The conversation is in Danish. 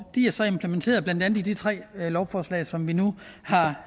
de er så implementeret i blandt andet de tre lovforslag som vi nu